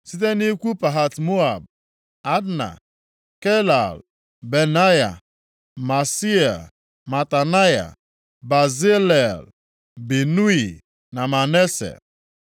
Site nʼikwu Pahat-Moab, Adna, Kelal, Benaya, Maaseia, Matanaya, Bezalel, Binui, na Manase.